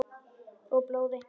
Og blóði.